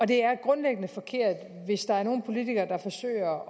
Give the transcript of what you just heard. det er grundlæggende forkert hvis der er nogle politikere der forsøger